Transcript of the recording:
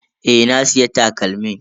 Eh, na siya takalmin.